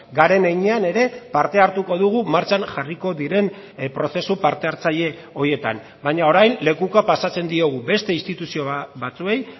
garen heinean ere parte hartuko dugu martxan jarriko diren prozesu parte hartzaile horietan baina orain lekukoa pasatzen diogu beste instituzio batzuei